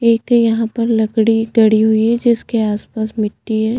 एक है यहाँ पर लकड़ी गड़ी हुई है जिसके आसपास मिटटी है।